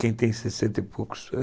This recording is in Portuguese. Quem tem sessenta e poucos